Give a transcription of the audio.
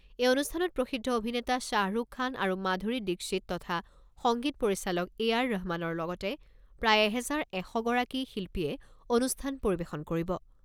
এই অনুষ্ঠানত প্ৰসিদ্ধ অভিনেতা শ্বাহৰুখ খান আৰু মাধুৰী দীক্ষিত তথা সংগীত পৰিচালক এ আৰ ৰহমানৰ লগতে প্ৰায় এহেজাৰ এশ গৰাকী শিল্পীয়ে অনুষ্ঠান পৰিৱেশন কৰিব।